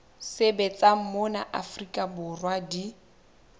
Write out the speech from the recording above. sebetsang mona afrika borwa di